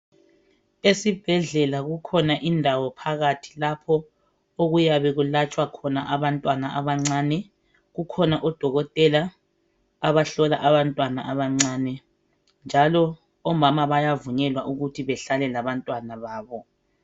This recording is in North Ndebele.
Esibhedlela kukhona indawo phakathi lapho okwelatshwa khona abantwana abancane . Kukhona odokotela abahlola abantwana abancane njalo omama bayavunyelwa ukuthi bahlale labantwana babo.